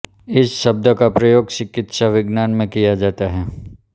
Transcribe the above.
इस शब्द का प्रयोग चिकित्सा विज्ञान में किया जाता है